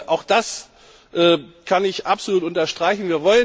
Auch das kann ich absolut unterstreichen.